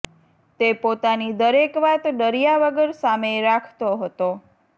તે પોતાની દરેક વાત ડર્યા વગર સામે રાખતો હતો